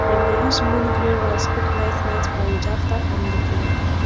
dem dey use moon grain rice cook night night porridge after family prayer